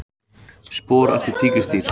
Spor eftir tígrisdýr.